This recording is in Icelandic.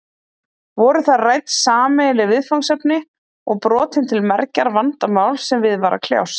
Voru þar rædd sameiginleg viðfangsefni og brotin til mergjar vandamál sem við var að kljást.